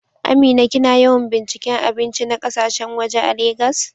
Amina, kina yawan binciken abinci na kasashen waje a Legas?